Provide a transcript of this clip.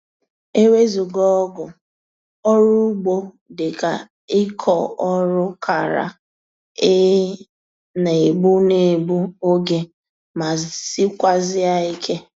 Ewezuga ọgụ, ọrụ ugbo dịka ịkọ ọrụ kara ị na-egbu na-egbu oge ma sikwazie ike